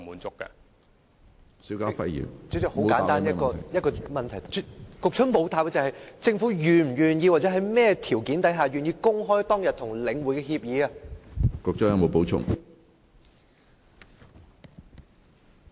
主席，很簡單一個問題，政府沒有答覆：政府是否願意，或在甚麼條件下願意公開當天與領匯的協議？